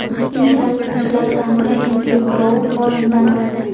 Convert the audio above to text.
Intel asoschilaridan biri Endryu Grouv olamdan o‘tdi.